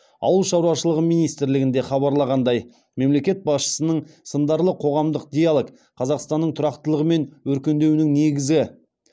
ауыл шаруашылығы министрлігінде хабарлағандай мемлекет басшысының сындарлы қоғамдық диалог қазақстанның тұрақтылығы мен өркендеуінің негізі